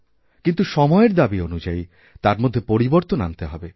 কিন্তুসময়ের দাবী অনুযায়ী তার মধ্যে পরিবর্তন আনতে হবে